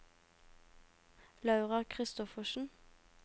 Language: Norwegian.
Laura Kristoffersen